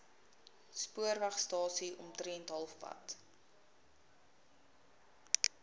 spoorwegstasie omtrent halfpad